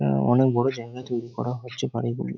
অ্যা অনেক বড়ো জায়গায় তৈরী করা হচ্ছে বাড়িগুলো।